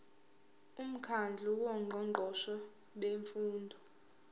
umkhandlu wongqongqoshe bemfundo